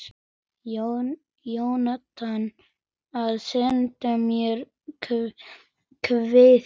Jónatan að senda mér kveðju?